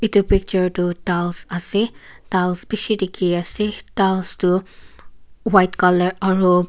Etu picture tuh tiles ase tiles beshi dekhey ase tiles tuh white colour aro--